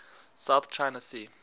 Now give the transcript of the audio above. south china sea